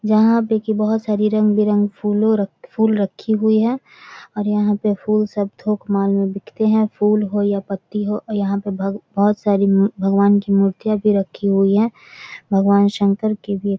यहाँ देखिए बहुत सारी रंग बिरंगे फुले फूल रखी हुई और यहाँ पे फूल सब थोक माल में बिकते है फूल हो या पत्ती हो यहाँ पे भ भगवान की मूर्तियां भी रखी हुई है | भगवान शंकर के भी --